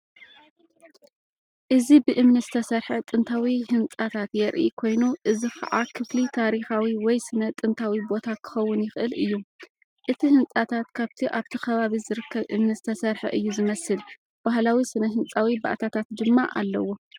እዚ ብእምኒ እተሰርሐ ጥንታዊ ህንፃታት የርኢ ኮይኑ እዚ ኸኣ ክፍሊ ታሪኻዊ ወይ ስነ-ጥንታዊ ቦታ ኪኸውን ይኽእል እዩ። እቲ ህንጻታት ካብቲ ኣብቲ ኸባቢ ዝርከብ እምኒ ዝተሰርሐ እዩ ዝመስል ባህላዊ ስነ-ህንፃዊ ባእታታት ድማ ኣለዎ።